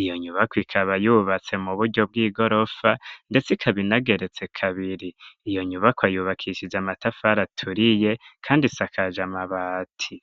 iyo nyubako ikaba yubatse mu buryo bw'i gorofa, ndetse ikabinageretse kabiri, iyo nyubako ayubakishije amatafara aturiye, kandi sikaje amabati.